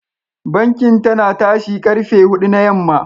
Bankin tana tashi karfe hudu na yamma.